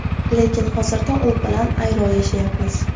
Lekin hozirda u bilan ayro yashayapmiz.